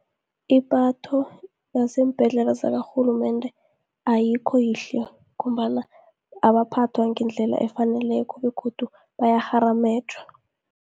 Ipatho yaseembhedlela zakarhulumende ayikho yihle, ngombana abaphathwa ngendlela efaneleko, begodu bayakgharamejwa.